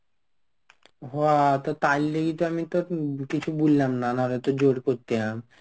হ তো তাইলেই তো আমি তো কিছু বললাম না. নাহলে তো জোর করতাম.